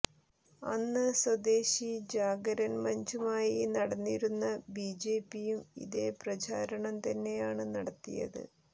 അന്ന് സ്വദേശി ജാഗരൻ മഞ്ചുമായി നടന്നിരുന്ന ബിജെപിയും ഇതേ പ്രചാരണം തന്നെയാണ് നടത്തിയത്